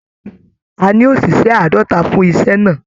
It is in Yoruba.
A ní oṣiṣẹ àádọta fún iṣẹ náà.